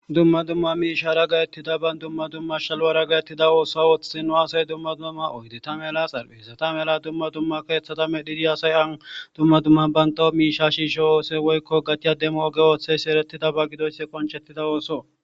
dumma dumma miishara gayettidaban dumma dumma shalwara gayettida ooso wothhinno asay dumma dumma oydeta mela xalhi hesata mela dumma dumma keethata me dhiidi asay an dumma dumma bantaw miisha shiisho oose woykko gatiyademo oge ooththeysi eretidaba gidoyss qonchettida ooso